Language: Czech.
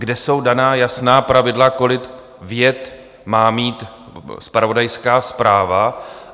Kde jsou daná jasná pravidla, kolik vět má mít zpravodajská zpráva?